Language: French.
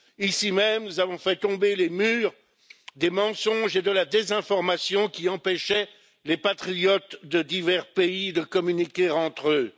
Ici même, nous avons fait tomber les murs des mensonges et de la désinformation qui empêchaient les patriotes de divers pays de communiquer entre eux.